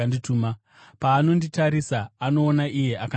Paanonditarisa, anoona iye akandituma.